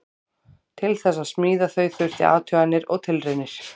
Til þess að smíða þau þurfti athuganir og tilraunir.